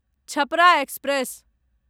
Chhapra express